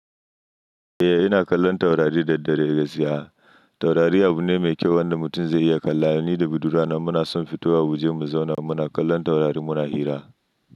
Eh ina kallon taurari da dare gaskiya. Taurari abu ne mai kyau wanda mutum zai iya kallowa ni da budurana muna son fito a waje mu zauna muna kallon taurari muna hira.